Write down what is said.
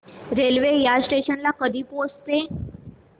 railway या station ला कधी पोहचते